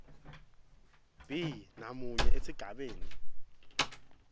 b namunye esigabeni